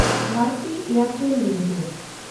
ᱵᱷᱮᱱᱰᱛᱤ ᱮᱭᱮᱱᱰᱴᱮᱞ ᱞᱤᱢᱤᱴᱮᱰ